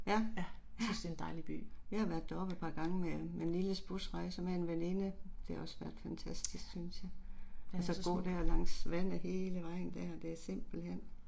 Ja, ja. Jeg har været deroppe et par gange med med Nilles busrejser med en veninde. Det har også været fantastisk synes jeg. Og så gå der langs vandet hele vejen der det er simpelthen